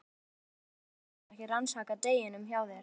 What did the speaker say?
Fréttakona: Þannig að þetta hefur ekki raskað deginum hjá þér?